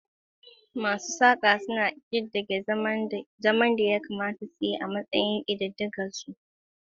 Masu saƙa suna ƙididdige zaren da ƙira yayin da yatsunsu ke rawa a kan saƙa, suna ƙirƙirar lambobi masu haske.